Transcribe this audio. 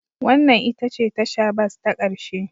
Wannan ita ce tasha bas ta ƙarshe